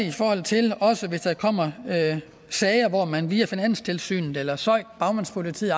i forhold til hvis der kommer sager hvor man via finanstilsynet eller søik bagmandspolitiet